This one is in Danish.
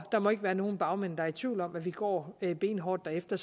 der må ikke være nogen bagmænd der i tvivl om at vi går benhårdt derefter